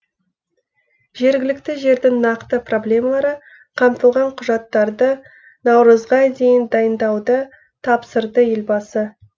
жергілікті жердің нақты проблемалары қамтылған құжаттарды наурызға дейін дайындауды тапсырды елбасы